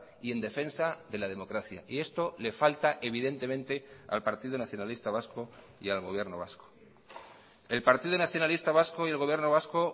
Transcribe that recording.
y en defensa de la democracia y esto le falta evidentemente al partido nacionalista vasco y al gobierno vasco el partido nacionalista vasco y el gobierno vasco